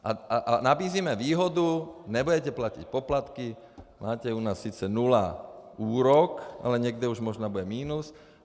A nabízíme výhodu: nebudete platit poplatky, máte u nás sice nula úrok, ale někde už možná bude minus.